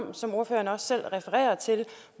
om som ordføreren også selv refererer til